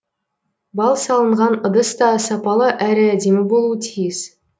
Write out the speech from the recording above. бал салынған ыдыс та сапалы әрі әдемі болуы тиіс